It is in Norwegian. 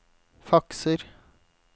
fakser